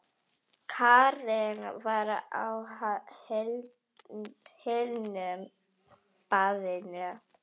Karen var á hinu baðinu.